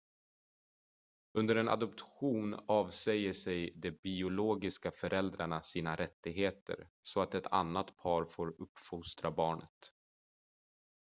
under en adoption avsäger sig de biologiska föräldrarna sina rättigheter så att ett annat par får uppfostra barnet